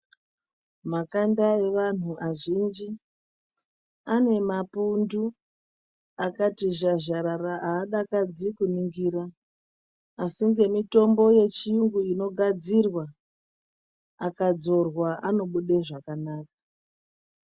Makanda eandu vazhinji anemapundu akati zhazharara adakadzi kuningira asi ngemutombo yechiyungu inogadzirwa akadzorwa anobuda zvakanaka.